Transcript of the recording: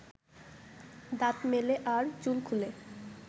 দাঁত মেলে আর চুল খুলে